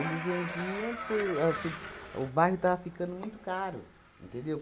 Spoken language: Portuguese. vendiam por, assim... O bairro estava ficando muito caro, entendeu?